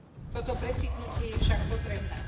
Toto precitnutie je však potrebné.